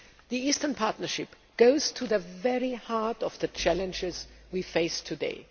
2009. The Eastern Partnership goes to the very heart of the challenges we face today.